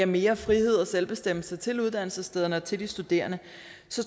mere frihed og selvbestemmelse til uddannelsesstederne og til de studerende